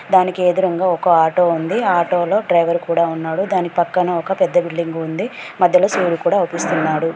దానికి ఎదురుంగా ఒక ఆటో ఉంది ఆ ఆటో లో డ్రైవర్ కూడా ఉన్నాడు దాని పక్కన ఒక పెద్ద బిల్డింగు ఉంది మధ్యలో సూర్యుడు కూడా ఔపిస్తున్నాడు.